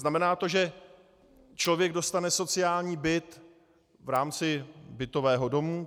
Znamená to, že člověk dostane sociální byt v rámci bytového domu?